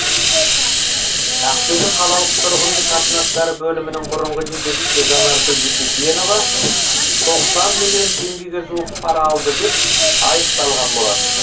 ақтөбе қалалық тұрғын үй қатынастары бөлімінің бұрынғы жетекшісі жанаргүл дүйсекенова тоқсан миллион теңгеге жуық пара алды деп айыпталған болатын